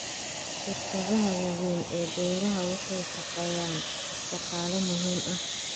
Shirkadaha waaweyn ee beeraha waxay shaqaaleeyaan shaqaale muhiim ah.